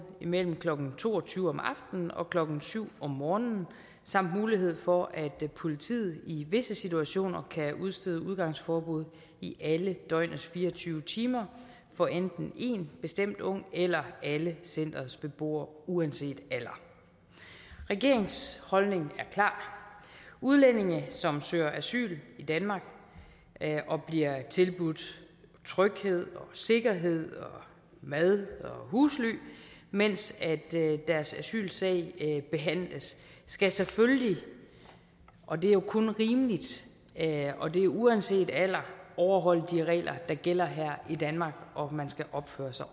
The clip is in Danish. mellem klokken to og tyve om aftenen og klokken syv om morgenen samt mulighed for at politiet i visse situationer kan udstede udgangsforbud i alle døgnets fire og tyve timer for enten én bestemt ung eller alle centerets beboere uanset alder regeringens holdning er klar udlændinge som søger asyl i danmark og bliver tilbudt tryghed og sikkerhed og mad og husly mens deres asylsag behandles skal selvfølgelig og det er jo kun rimeligt og det er uanset alder overholde de regler der gælder her i danmark og man skal opføre sig